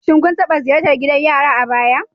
Shin kun taɓa ziyartar gidan yari a baya?